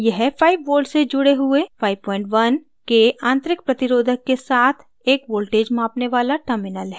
यह 5 volts से जुड़े हुए 51k आंतरिक प्रतिरोधक resistor के साथ एक voltage मापने वाला terminal है